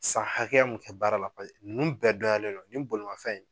San hakɛya mun kɛ baara la ninnu bɛɛ donyalen don nin bolomafɛn in